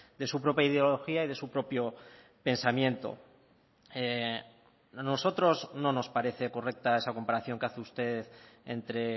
de su propia ideología y de su propio pensamiento a nosotros no nos parece correcta esa comparación que hace usted entre